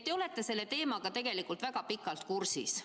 Te olete selle teemaga tegelikult väga pikalt kursis.